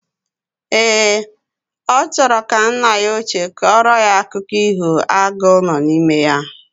Ee, ochoro ka nna ya oche koro ya akụko iho agu no na ime ya.